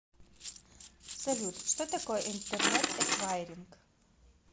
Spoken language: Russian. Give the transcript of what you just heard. салют что такое интернет эквайринг